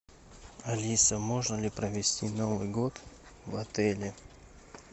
алиса можно ли провести новый год в отеле